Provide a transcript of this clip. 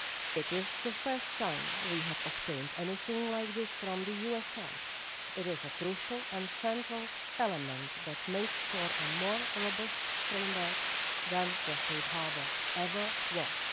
It is the first time we have obtained anything like this from the US side. It is a crucial and central element that makes for a more robust framework than the Safe Harbour ever was.